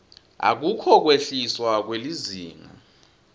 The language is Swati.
akukho kwehliswa kwelizinga